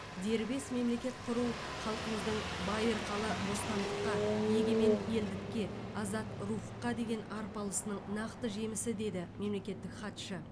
дербес мемлекет құру халқымыздың байырқалы бостандыққа егемен елдікке азат рухқа деген арпалысының нақты жемісі деді мемлекеттік хатшы